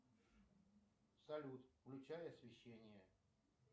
салют включай освещение